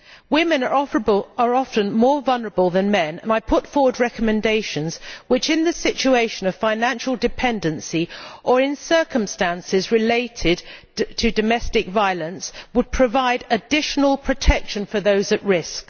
Women are often more vulnerable than men, and I put forward recommendations which, in the situation of financial dependency or in circumstances related to domestic violence, would provide additional protection for those at risk.